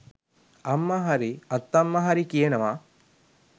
අම්මා හරි අත්තම්මා හරි කියනවා